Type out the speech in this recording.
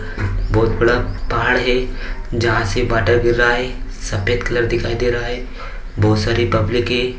बोहत बड़ा पहाड़ है जहां से वॉटर गिर रहा है सफेद कलर दिखाई दे रहा है बहुत सारे पब्लिक है।